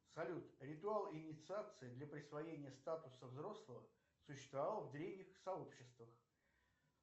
салют ритуал инициации для присвоения статуса взрослого существовал в древних сообществах